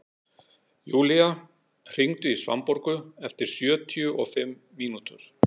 Julia, hringdu í Svanborgu eftir sjötíu og fimm mínútur.